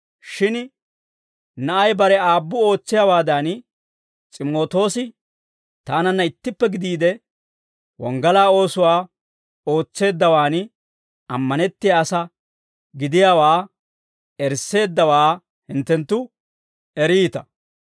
Shin na'ay bare aabbu ootsiyaawaadan, S'imootoosi taananna ittippe gidiide, wonggalaa oosuwaa ootseeddawaan, ammanettiyaa asaa gidiyaawaa erisseeddawaa hinttenttu eriita.